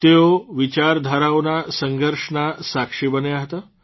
તેઓ વિચારધારાઓના સંઘર્ષના સાક્ષી બન્યા હતા